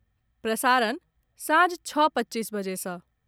प्रसारण सांझ छओ पच्चीस बजे सँ